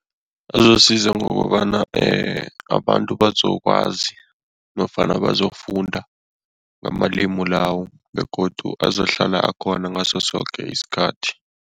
Azosiza ngokobana abantu bazokwazi nofana bazokufunda ngamalimi lawo begodu azohlala akhona ngaso soke isikhathi.